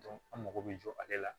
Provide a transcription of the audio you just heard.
an mago bɛ jɔ ale la